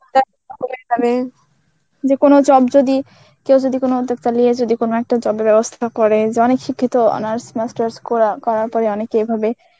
যে কোনো job যদি কেউ যদি কোনো উদ্যোক্তা লিয়ে যদি কোনো একটা job এর ব্যবস্থাটা করে যে অনেক শিক্ষিত honours master's কর~ করার পরে অনেকে এভাবে